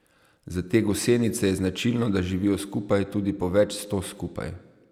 Za te gosenice je značilno, da živijo skupaj, tudi po več sto skupaj.